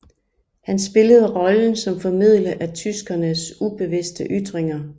Han spillede rollen som formidler af tyskernes ubevidste ytringer